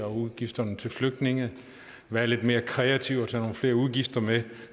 udgifterne til flygtninge være lidt mere kreative og tage nogle flere udgifter med